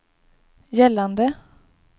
gällande